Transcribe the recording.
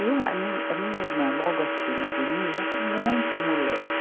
E uma, a mim, a minha irmã, logo acima de mim, era muito moleca.